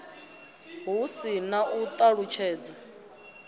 hu si na u ṱalutshedza